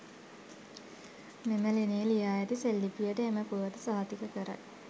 මෙම ලෙණේ ලියා ඇති සෙල්ලිපියට එම පුවත සහතික කරයි.